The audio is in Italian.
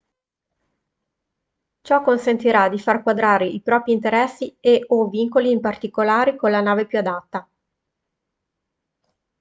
ciò consentirà di far quadrare i propri interessi e/o vincoli particolari con la nave più adatta